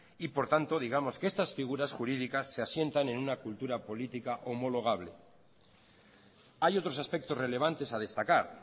y por tanto digamos que estas figuras jurídicas se asientan en una cultura política homologable hay otros aspectos relevantes a destacar